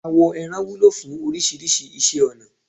Àwọ ẹran wúlò fún oríṣiríṣi iṣẹ́ ọnà.